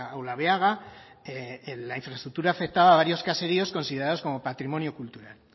olabeaga la infraestructura afectaba a varios caseríos considerados como patrimonio cultural